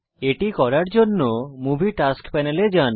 এটা করার জন্যে মুভি টাস্ক প্যানেল এ যান